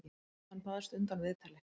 Hann baðst undan viðtali.